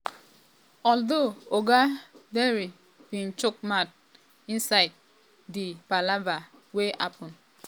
although oga dare bin um chook mouth um insidedi #endsars palava wey happun for2020.